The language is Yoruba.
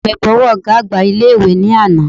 Ọ̀rẹ́ mi bọ ọwọ́ ọ̀gá àgbà ilé ìwé ní àná